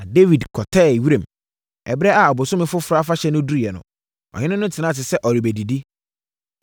Na Dawid kɔtɛɛ wiram, na ɛberɛ a ɔbosome foforɔ afahyɛ no duruiɛ no, ɔhene no tenaa ase sɛ ɔrebɛdidi.